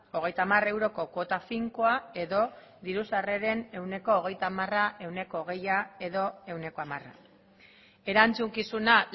hogeita hamar euroko kuota finkoa edo diru sarreren ehuneko hogeita hamara ehuneko hogeia edo ehuneko hamara erantzukizuna